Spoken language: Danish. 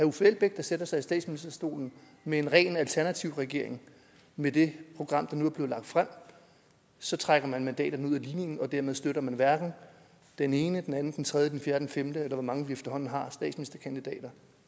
uffe elbæk der sætter sig i statsministerstolen med en ren alternativregering med det program der nu er blevet lagt frem så trækker man mandaterne ud af ligningen og dermed støtter man hverken den ene den anden den tredje den fjerde den femte eller hvor mange vi efterhånden har